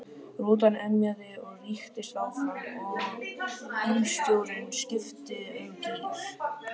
Rútan emjaði og rykktist áfram og bílstjórinn skipti um gír.